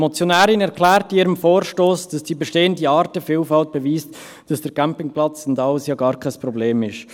Die Motionärin erklärt in ihrem Vorstoss, dass die bestehende Artenvielfalt beweise, dass der Campingplatz und alles ja gar kein Problem seien.